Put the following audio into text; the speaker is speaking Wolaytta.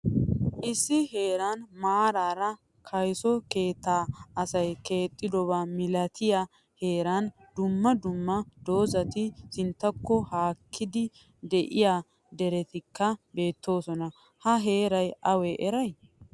Issi heeran maarara kayso keetta asay keexdoba milatiya heeran dumma dumma dozati sinttako haakkidi deiya derettika beettoosona. Ha heeray awa heere?